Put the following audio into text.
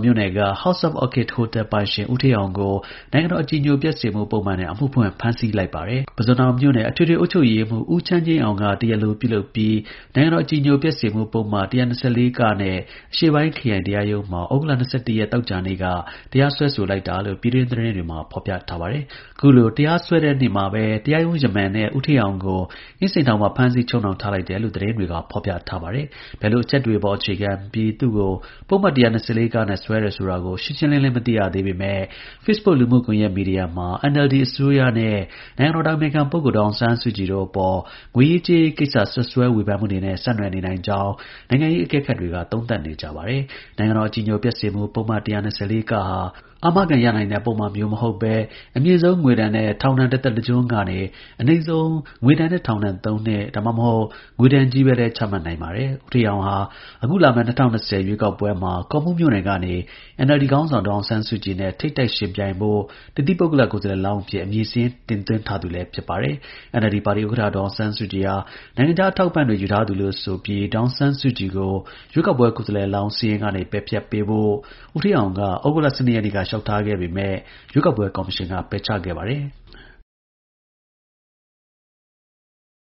မြို့နယ်က House of Orchid ဟိုတယ်ပိုင်ရှင် ဦးဌေးအောင်ကို နိုင်ငံတော် အကြည်ညိုပျက်စေမှုပုဒ်မနဲ့ အမှုဖွင့် ဖမ်းဆီးလိုက်ပါတယ်။ ပုဇွန်တောင် မြို့နယ် အထွေထွေအုပ်ချုပ်ရေးမှူး ဦးချမ်းငြိမ်းအောင်က တရားလိုပြု လုပ်ပြီး နိုင်ငံတော်အကြည်ညိုပျက်စေမှု ပုဒ်မ ၁၂၄ နဲ့ အရှေ့ပိုင်းခရိုင်တရားရုံးမှာ သြဂုတ်လ ရက် သောကြာနေ့က တရားစွဲဆိုလိုက်တာလို့ ပြည်တွင်းသတင်းတွေမှာ ဖေါ်ပြပါတယ်။ ခုလို တရားစွဲတဲ့နေ့မှာပဲ တရားရုံး-ယမန်နဲ့ ဦးဌေးအောင်ကို အင်းစိန်ထောင်မှာ ဖမ်းဆီးချုပ်နှောင် ထားလိုက်တယ်လို့ သတင်းတွေက ဖေါ်ပြတာပါ။ ဘယ်လို အချက်တွေပေါ် အခြေခံပြီး သူ့ကို ပုဒ်မ ၁၂၄ နဲ့ စွဲဆိုတယ်ဆိုတာ ရှင်းရှင်းလင်းလင်း မသိရသေးပေမဲ့ facebook လူမှုကွန်ယက် မီဒီယာမှာ NLD အစိုးရနဲ့ နိုင်ငံတော်အတိုင်ပင်ခံ ဒေါ်အောင်ဆန်းစုကြည်တို့အပေါ် ငွေရေးကြေးရေးကိစ္စစွပ်စွဲဝေဖန်မှုတွေနဲ့ ဆက်နွှယ်နိုင်ကြောင်း နိုင်ငံရေးအကဲခတ်တွေက သုံးသပ်နေကြပါတယ်။ နိုင်ငံတော်အကြည်ညိုပျက်စေမှု ပုဒ်မ ၁၂၄ ဟာ အာမခံရနိုင်တဲ့ ပုဒ်မမျိုး မဟုတ်ပဲ၊ အမြင့်ဆုံး ငွေဒဏ်နဲ့ ထောင်ဒဏ် တသက်တကျွန်း ကနေ အနိမ့်ဆုံး ငွေဒဏ်နဲ့ ထောင်ဒဏ် ၃ နှစ် ဒါမှမဟုတ် ငွေဒဏ်ချည်းပဲလည်း ချမှတ်နိုင်ပါတယ်။ ဦးဌေးအောင်ဟာ အခုလာမယ့် ၂၀၂၀ ရွေးကောက်ပွဲမှာ ကော့မှူးမြို့နယ်ကနေ NLD ခေါင်းဆောင် ဒေါ်အောင်ဆန်းစုကြည်နဲ့ ထိပ်တိုက် ယှဉ်ပြိုင်ဖို့ တသီးပုဂ္ဂလ ကိုယ်စားလှယ်လောင်းအဖြစ် အမည်စာရင်း တင်သွင်းထားသူလည်း ဖြစ်ပါတယ်။ NLD ပါတီဥက္ကဌ ဒေါ်အောင်ဆန်းစုကြည်ဟာ နိုင်ငံခြား အထောက်အပံ့တွေ ယူထားသူလို့ ဆိုကာ ဒေါ်အောင်ဆန်းစုကြည်ကို ရွေးကောက်ပွဲ ကိုယ်စားလှယ်လောင်း စာရင်းကနေ ပယ်ဖျက်ပေးဖို့ ဦးဌေးအောင်က သြဂုတ်လ ရက်နေ့က လျှောက်ထားခဲ့ပေမဲ့ ရွေးကောက်ပွဲ ကော်မရှင်က ပယ်ချခဲ့ပါတယ်။